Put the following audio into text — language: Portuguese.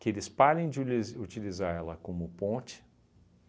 que eles parem de uliz utilizar ela como ponte.